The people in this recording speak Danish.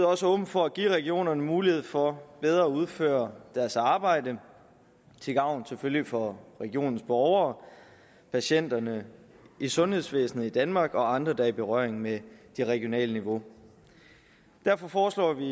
også åben for at give regionerne mulighed for bedre at udføre deres arbejde til gavn selvfølgelig for regionens borgere patienterne i sundhedsvæsenet i danmark og andre der er i berøring med det regionale niveau derfor foreslår vi